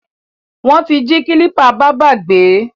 Wọ́n ti jí kílípà bábá gbé.